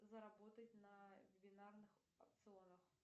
заработать на бинарных опционах